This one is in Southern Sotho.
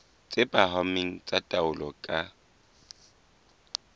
tse phahameng tsa taolo ka